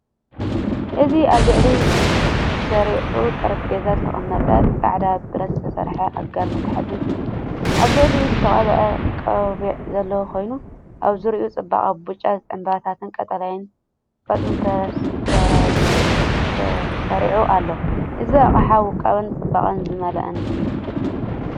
እዚ ኣብ ልዕሊ ስሩዕ ጠረጴዛ ዝተቐመጠ ጻዕዳ ብረት ዝተሰርሐ ኣጋር መትሓዚን እዩ። ኣብ ልዕሊኡ ዝተቐብአ ቆቢዕ ዘለዎ ኮይኑ፡ ኣብ ዙርያኡ ጽቡቕ ብጫ ዕምባባታትን ቀጠልያ ቆጽልን ተሰሪዑ ኣሎ። እዚ ኣቅሓ ውቁብን ጽባቐ ዝመልኦን እዩ።